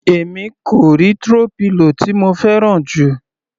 Èmi kò rí throw pillow tí mo fẹ́ràn jù.